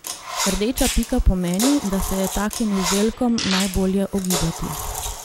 Rdeča pika pomeni, da se je takim izdelkom najbolje ogibati.